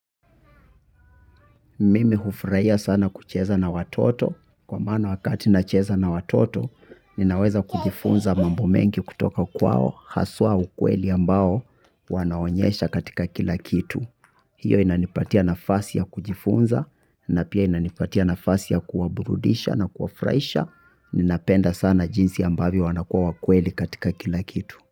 Mimi hufurahia sana kucheza na watoto kwa maana wakati nacheza na watoto ninaweza kujifunza mambo mengi kutoka kwao haswa ukweli ambao wanaonyesha katika kila kitu. Hiyo inanipatia nafasi ya kujifunza na pia inanipatia nafasi ya kuwaburudisha na kuwafurahisha ninapenda sana jinsi ambavyo wanakuwa wakweli katika kila kitu.